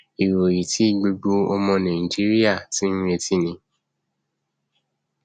ìròyìn tí gbogbo ọmọ nàìjíríà ti ń retí ni